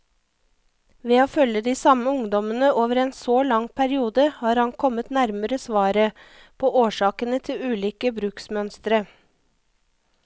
Ved å følge de samme ungdommene over en så lang periode, har han kommet nærmere svaret på årsakene til ulike bruksmønstre.